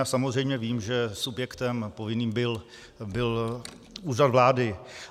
Já samozřejmě vím, že subjektem povinným byl Úřad vlády.